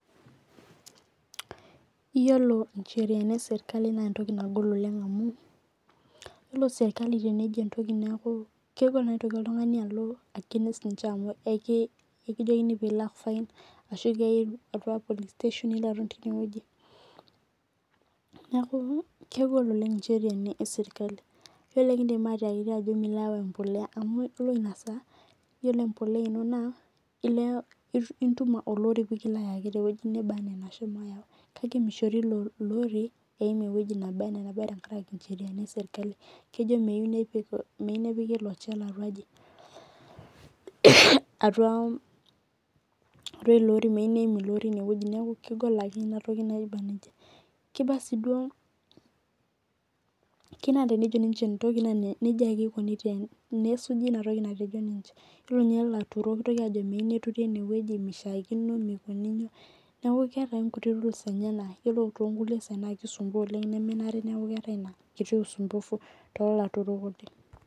Iyiolo incheraini ee serikali naa entoki nagol oleng' amu iyiolo serikali tenejo entoki neeku keibaa tenitoki oltung'ani alo against ninche amu ikijokini pilak fine ashu kiyae atua police station nikijokini pilo aton tineweji. Neeku kegol aleng incheriani ee serikali iyiolo ikidim atiakiti ajo milo ayau empoleya amu ore ina saa iyioo empoleya ino itum olori pee kilo ayaki tee weji naba anaa anabaa anaa anashomo ayau kake mishori ilo ori eim eweji nebo tenkaraki incheriani ee serikali. Kejo meyou nepiki ilo chela atuaaji atua ilo iro meteu neim ilo ori atua ineeji neeku kegol akeyie ina toki naba neija. Kinaa sii duo. Keyeu naa tenejo ninche entoki naa neija ake ikuni nesuji ina toki natejo ninche. Iyiolo ninye ilaturok kejo meyeu neturi eneweji mishaakino mikinuji iyolo too nkukie saai keeta rules naanare nesuji too laturok neeku wasumbufu oleng'